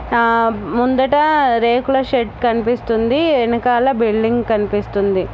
ఆహ్ ముందట రేకుల షెడ్ కనిపిస్తుంది వెనకాల బిల్డింగ్ కనిపిస్తుంది.